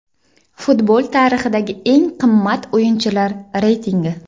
Futbol tarixidagi eng qimmat o‘yinchilar reytingi .